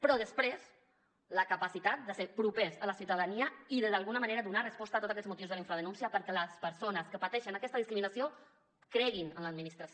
però després la capacitat de ser propers a la ciutadania i de d’alguna manera donar resposta a tots aquests motius de la infradenúncia perquè les persones que pateixen aquesta discriminació creguin en l’administració